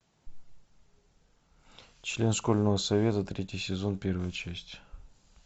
член школьного совета третий сезон первая часть